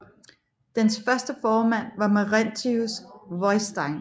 Dens første formand var Maurentius Viðstein